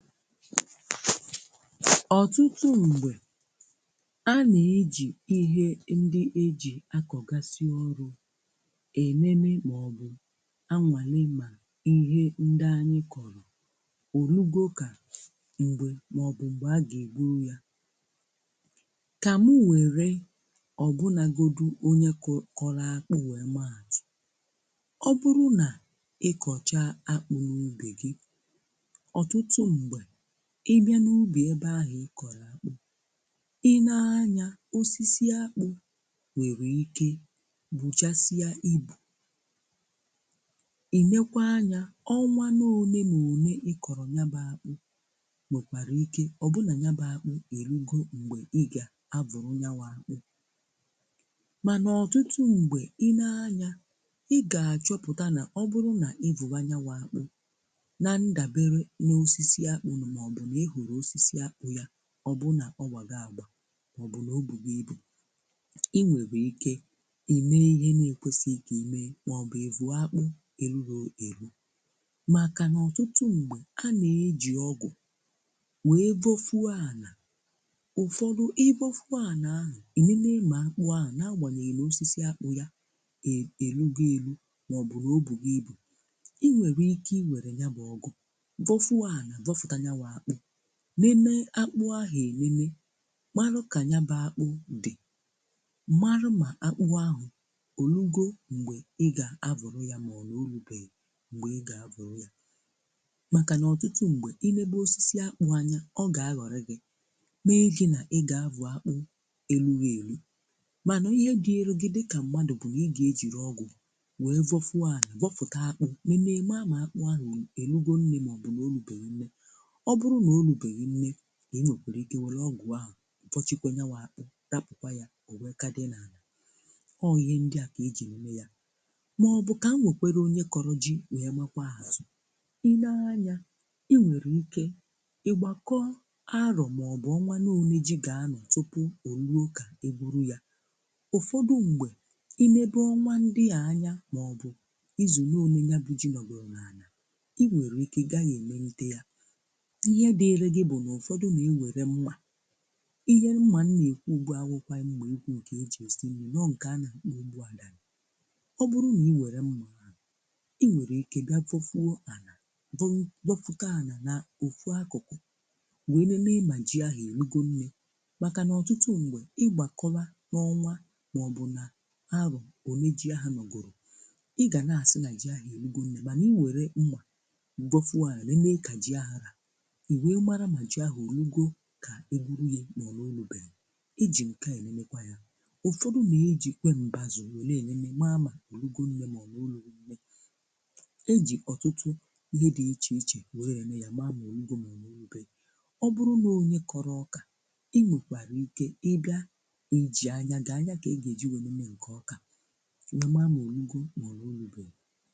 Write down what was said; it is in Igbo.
Ọtụtụ mgbe, a na-eji ihe ndị e ji akọgasị ugbo enene maọbụ anwale ma ihe ndị anyị kọrọ, orugo ka mgbe maọbụ mgbe a ga-ebunwu ya. Ka mụ were obunagodi onye kọ kọrọ akpụ wee maa atụ. Ọ bụrụ na ịkọchaa akpụ n'ubi gị, ọtụtụ mgbe ị bịa n'ubi ebe ahụ ị kọrọ akpụ, i nee anya osisi akpụ nwere ike buchasịa ibu. I nekwaa anya, ọnwa n'ole na ole ị kọrọ yabụ akpụ nwekwara ike ọ bụrụ na yabụ akpụ erugo mgbe ị ga-avọnwu. Mana ọtụtụ mgbe i nee anya, ị ga-achọpụta na ọ bụrụ na ịvọwa nya wụ akpụ na ndabere n'osisi akpụ maọbụ na i ghoro osisi akpụ ya ọ bụrụ nọọ gbago àgbà maọbụ na o bugo ibu, i nwere ike i mee ihe na-ekwesịghị ka i mee maọbụ ịvụọ́ akpụ erughi eru makana ọtụtụ mgbe a na-eji ọ́gụ̀ wee vọ́ọfuo ana. Ụfọdụ ị vọ́fue ana ahụ, i nenee ma akpụ ahụ n'agbanyeghị na osisi akpụ ya e erugo eru maọbụ na o bugo ibu, i nwere ike iwere nya bụ ọ́gụ̀ vọ́fue ana vọfụta yawụ akpụ. Nenee akpụ ahụ enene, marụ́ ka nyabụ akpụ dị. Marụ́ ma akpụ ahụ orugo mgbe ị ga-avọrụ ya ma ọ na orubeghị mgbe ị ga-avọrụ ya makana ọtụtụ mgbe i nebe osisi akpụ anya, ọ ga-aghọrị gị mee gị na ị ga-avụ akpụ erughị eru. Mana ihe dịịrị gị dịka mmadụ bụ na ị ga-ejiri ọgụ wee vọfue ana vọfụta akpụ nenee mara ma akpụ ahụ oluona nne ma ọ bụ na olubeghi nne. Ọ bụrụ na o olubeghi nne, i were ọgụ ahụ vọshikwa nya wụ akpụ, rapụkwa ya o wee ka dị n'ana. Ọọ ihe ndị a ka ecji eme ya. Maọbụ ka m wekwere onye kọrọ ji wee makwaa atụ̀. I nee anya i nwere ike ị gbakọọ arọ̀ maọbụ ọnwa n'one ji ga-anọ tupuo ruo ka e gwuru ya. Ụfọdụ mgbe, inebe ọnwa ndị a anya maọbụ izu n'one yabụ ji nọgoro n'ana, i nwere ike ị gaghị emenite ya. Ihe dịịrị gị bụ na ụfọdụ ga-ewere mmà, ihe mma m na-ekwu ugbua awụghịkwa mma ekwu nke e ji esi nni nọọ nke a na-akpọ. Ọ bụrụ na i were mma ahụ, i nwere ike gaa vofuo ana vo vọfụta ana na ofu akụkụ wee nenee ma ji ahụ o rugo nne. Makana ọtụtụ mgbe ị gbakọwa n'ọnwa maọbụ na ahọ̀ one ji ahụ nọgoro, ị ga na-asị na ji ahụ erugo nne mana i were mmà vọfuo ana nenee ka ji ahụ rà, i wee mara ma ji ahụ orugo ka e gwuru ya ma ọ na orubeghi. E ji nke a enenekwa ya. Ụfọdụ na-ejikwe mbazụ wele enene mara ma orugo nne ma ọ na orubeghi. E ji ọtụtụ ihe dị iche iche were ene ya maa ma orugo ma ọ na orubeghi. Ọ bụrụ na ọ onye kọrọ ọkà, i nwekwara ike ị bịa nageji anya gị anya ka a gageji wee nenee nke ọkà wee maa ma orugo ma ọ na orubeghi.